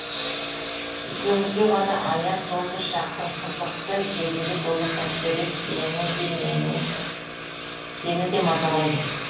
екеуімізге ғана аян сол бір шақтың қызықты сезімге толы сәттері сені де мазалайды